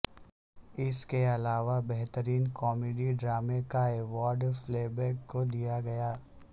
اس کے علاوہ بہترین کامیڈی ڈرامے کا ایوارڈ فلیبیگ کو دیا گیا